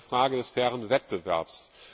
Das ist eine Frage des fairen Wettbewerbs.